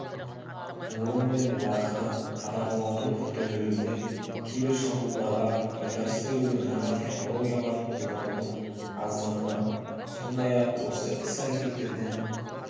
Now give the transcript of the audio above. орын мен уақытты қадағалаудың күрделілігінен кибершабуылдарға тойтарыс берудің жаңа технологияларын қолданудың аздығынан сондай-ақ осы іс-әрекеттерден